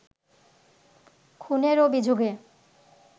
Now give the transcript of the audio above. খুনের অভিযোগে